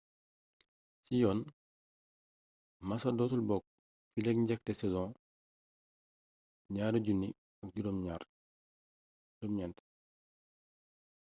ci yoon massa dootul bokk fileek njeexte saison 2009